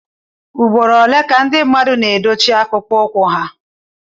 ugboro ole ka ndị mmadụ na edochie akpụkpọ ụkwụ ha